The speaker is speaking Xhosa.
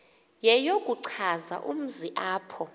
yeyokuchaza umzi apho